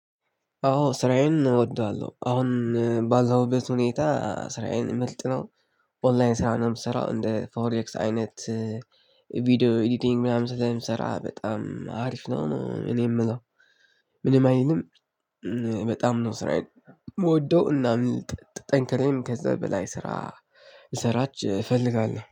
አዎ ስራዬን እወደዋለሁ አሁን ባለሁበት ሁኔታ ስራዬን ምልጥ ነው። ኦንላይን ስራውንም ስሰራው እንደ ፎሬክስ አይነት። ቪዲዮ ኤዲቲንግ ምናምን ስራ ምሰራ በጣም አሪፍ ነው እኔ የምለው። ምንም አይልም። በጣም ነው ስራዬን የምወደው እና ጠንክሬም ከዛ በላይ ስራ ልሰራች እፈልጋለሁ